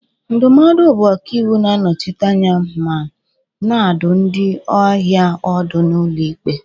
Ndụmọdụ bụ ọkàiwu na-anọchite anya ma na-adụ ndị ahịa ọdụ n'ụlọ ikpe